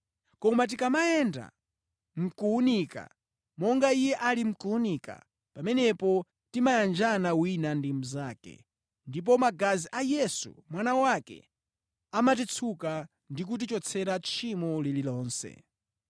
Koma tikamayenda mʼkuwunika, monga Iye ali mʼkuwunika, pamenepo timayanjana wina ndi mnzake, ndipo magazi a Yesu, Mwana wake, amatitsuka ndi kutichotsera tchimo lililonse.